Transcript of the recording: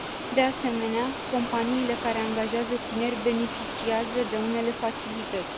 De asemenea, companiile care angajează tineri beneficiază de unele facilități.